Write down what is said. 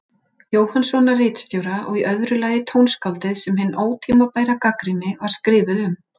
Jóhannssonar ritstjóra, og í öðru lagi tónskáldið sem hin ótímabæra gagnrýni var skrifuð um.